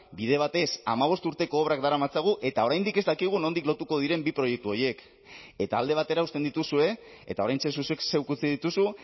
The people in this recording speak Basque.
bide batez hamabost urteko obrak daramatzagu eta oraindik ez dakigu nondik lotuko diren bi proiektu horiek eta alde batera uzten dituzue eta oraintxe zuk zeuk utzi dituzu